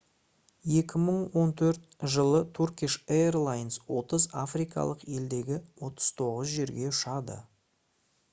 2014 жылы turkish airlines 30 африкалық елдегі 39 жерге ұшады